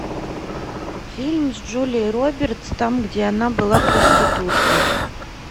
фильм с джулией робертс там где она была проституткой